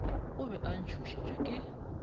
o be a tšhošitšwe ke